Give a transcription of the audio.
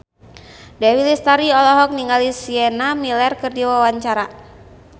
Dewi Lestari olohok ningali Sienna Miller keur diwawancara